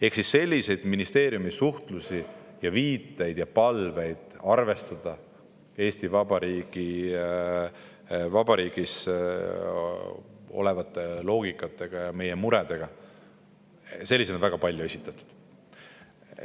Ehk siis sellist ministeeriumi suhtlemist ja palveid arvestada Eesti Vabariigis oleva loogikaga ja meie muredega on väga palju esitatud.